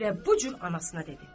Və bu cür anasına dedi.